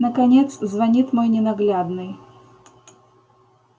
наконец звонит мой ненаглядный